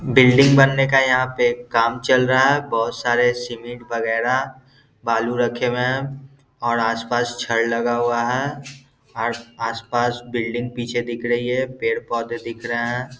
Building बनने का यहाँ पे काम चल रहा है बहुत सारे सीमेंट वगैरा बालू रखे हुए हैं और आस-पास छड़ लगा हुआ है और आस-पास बिल्डिंग पीछे दिख रहीं है पेड़-पौधे दिख रहे हैं ।